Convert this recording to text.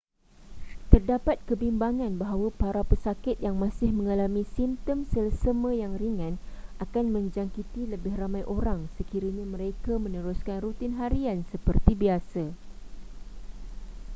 terdapat kebimbangan bahawa para pesakit yang masih mengalami simptom selesema yang ringan akan menjangkiti lebih ramai orang sekiranya mereka meneruskan rutin harian seperti biasa